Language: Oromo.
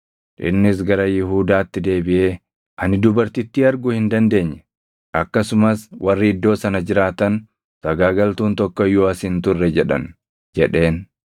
Innis gara Yihuudaatti deebiʼee, “Ani dubartittii arguu hin dandeenye. Akkasumas warri iddoo sana jiraatan, ‘Sagaagaltuun tokko iyyuu as hin turre’ jedhan” jedheen.